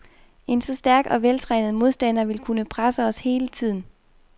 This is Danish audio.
En så stærk og veltrænet modstander vil kunne presse os hele tiden.